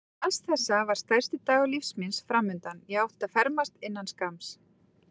Auk alls þessa var stærsti dagur lífs míns framundan: ég átti að fermast innan skamms.